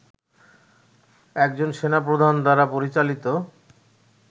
একজন সেনাপ্রধান দ্বারা পরিচালিত